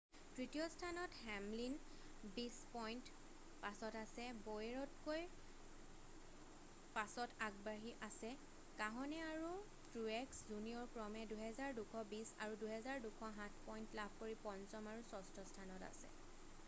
তৃতীয় স্থানত হেমলিন বিশ পইণ্ট পাছত আছে বৌয়েৰতকৈ 5ত আগবাঢ়ি আছে কাহনে আৰু ট্ৰুয়েক্স জুনিয়ৰ ক্ৰমে 2,220 আৰু 2,207 পইণ্ট লাভ কৰি পঞ্চম আৰু ষষ্ঠ স্থানত আছে